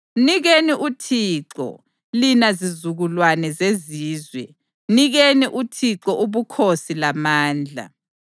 Mnikeni uThixo, lina zizukulwane zezizwe. Mnikeni uThixo ubukhosi lamandla.